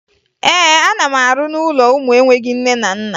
Ee, ana m arụ n'ụlọ ụmụ enweghi nne na nna